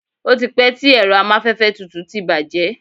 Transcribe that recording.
o ti pẹ ti ẹrọ amafẹfẹ tutù ti bàjé